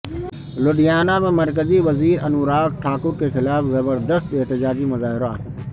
لدھیانہ میں مرکزی وزیر انوراگ ٹھاکر کے خلاف زبردست احتجاجی مظاہرہ